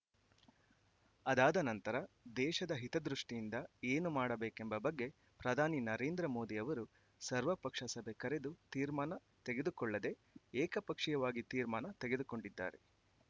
ಆದಾದ ನಂತರ ದೇಶದ ಹಿತದೃಷ್ಟಿಯಿಂದ ಏನು ಮಾಡಬೇಕೆಂಬ ಬಗ್ಗೆ ಪ್ರಧಾನಿ ನರೇಂದ್ರ ಮೋದಿ ಅವರು ಸರ್ವಪಕ್ಷ ಸಭೆ ಕರೆದು ತೀರ್ಮಾನ ತೆಗೆದುಕೊಳ್ಳದೆ ಏಕ ಪಕ್ಷೀಯವಾಗಿ ತೀರ್ಮಾನ ತೆಗೆದುಕೊಂಡಿದ್ದಾರೆ